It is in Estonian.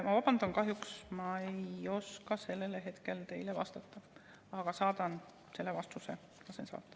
Ma vabandan, kahjuks ma ei oska hetkel teile vastata, aga saadan selle vastuse või lasen saata.